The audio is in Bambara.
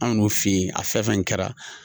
Anw b 'o fi yen a fɛn fɛn kɛra.